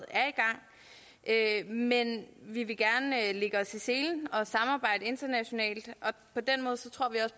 er i gang men vi vil gerne lægge os i selen og samarbejde internationalt